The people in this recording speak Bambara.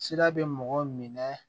Sira bɛ mɔgɔ minɛ